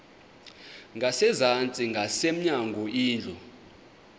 ngasezantsi ngasemnyango indlu